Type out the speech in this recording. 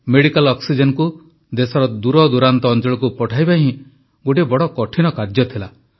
medical ଅକ୍ସିଜେନକୁ ଦେଶର ଦୂରଦୂରାନ୍ତ ଅଞ୍ଚଳକୁ ପଠାଇବା ହିଁ ଗୋଟିଏ ବଡ଼ କଠିନ କାର୍ଯ୍ୟ ଥିଲା